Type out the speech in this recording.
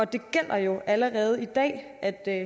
det gælder jo allerede i dag at at